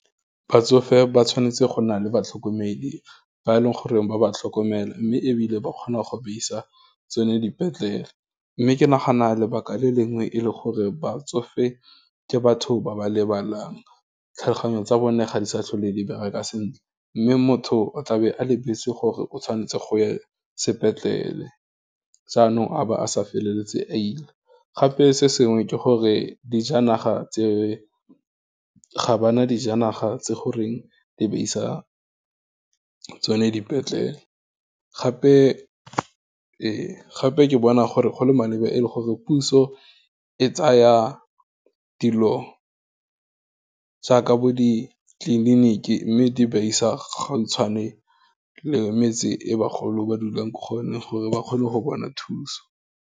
Batsofe ba tshwanetse go na le batlhokomedi ba e leng goreng ba ba tlhokomela, mme ebile ba kgona go ba isa, tsone dipetlele, mme ke nagana lebaka le lengwe e le gore batsofe ke batho ba ba lebalang, tlhaloganyo tsa bone, ga di sa tlhole di bereka sentle, mme motho o tlabe a lebetse gore o tshwanetse go ya sepetlele, jaanong a ba a sa feleletse a ile, gape, se sengwe ke gore, dijanaga tse ga bana dijanaga tse goreng di ba isa tsone dipetlele, gape ke bona gore go le maleba e le gore puso e tsa ya, dilo jaaka bo ditleliniki mme di ba isa gautshwane le metse e bagolo ba dulang ko kgone gore ba kgone go bona thuso.